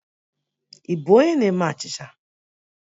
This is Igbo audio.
Ị bụ onye na-eme achịcha?